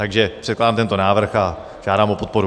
Takže předkládám tento návrh a žádám o podporu.